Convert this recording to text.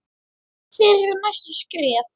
Hver eru næstu skref?